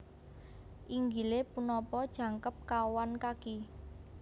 Inggilé punapa jangkep kawan kaki